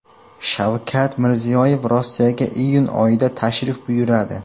Shavkat Mirziyoyev Rossiyaga iyun oyida tashrif buyuradi.